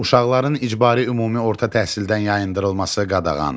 Uşaqların icbari ümumi orta təhsildən yayındırılması qadağandır.